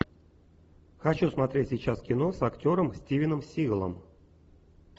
хочу смотреть сейчас кино с актером стивеном сигалом